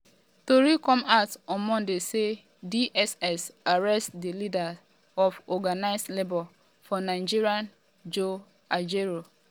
tori come out on monday say dss arrest di leader of organised labour for nigeria joe ajaero.